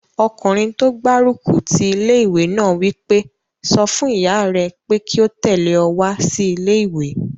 Ọkùnrin tó gbárùkù ti ilé-ìwé náà wí pé, "sọ fún ìyá rẹ pé kí ó tẹ̀lé ọ wá sí ilé-ìwé!"